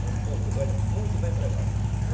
Moram em Porto Velho, muito bem empregado.